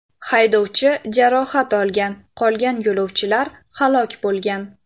Haydovchi jarohat olgan, qolgan yo‘lovchilar halok bo‘lgan.